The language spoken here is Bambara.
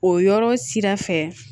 O yɔrɔ sira fɛ